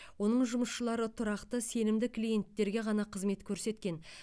оның жұмысшылары тұрақты сенімді клиенттерге ғана қызмет көрсеткен